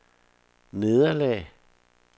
nederlag